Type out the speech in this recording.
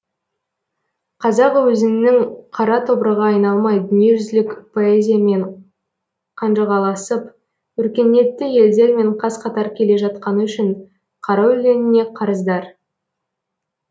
қазақ өзінің қара тобырға айналмай дүниежүзілік поэзиямен қанжығаласып өркениетті елдермен қаз қатар келе жатқаны үшін қара өлеңіне қарыздар